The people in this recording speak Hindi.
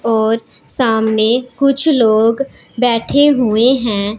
और सामने कुछ लोग बैठे हुए हैं।